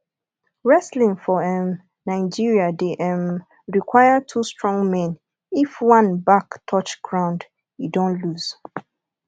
wrestling for um nigeria de um require two strong men if one back touch ground e don loose